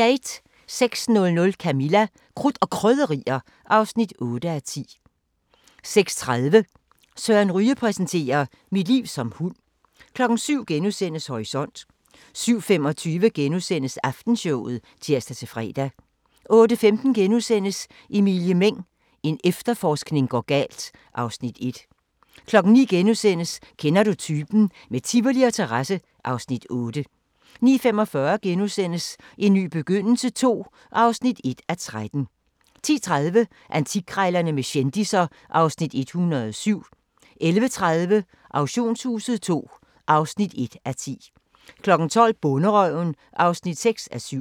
06:00: Camilla – Krudt og Krydderier (8:10) 06:30: Søren Ryge præsenterer: "Mit liv som hund" 07:00: Horisont * 07:25: Aftenshowet *(tir-fre) 08:15: Emilie Meng – en efterforskning går galt (Afs. 1)* 09:00: Kender du typen? - med Tivoli og terrasse (Afs. 8)* 09:45: En ny begyndelse II (1:13)* 10:30: Antikkrejlerne med kendisser (Afs. 107) 11:30: Auktionshuset II (1:10) 12:00: Bonderøven (6:7)